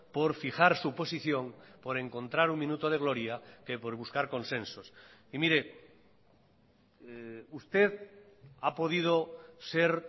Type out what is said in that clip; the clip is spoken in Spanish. por fijar su posición por encontrar un minuto de gloria que por buscar consensos y mire usted ha podido ser